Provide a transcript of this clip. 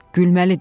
Gülməlidir.